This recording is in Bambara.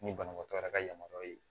Ni banabaatɔ yɛrɛ ka yamaruya ye